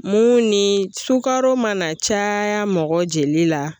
Mun ni sukaro mana caaya mɔgɔ jeli la